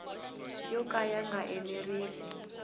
yo ka ya nga enerisi